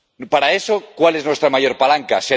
Para eso, ¿cuál es nuestra mayor palanca?